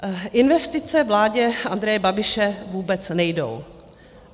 Investice vládě Andreje Babiše vůbec nejdou.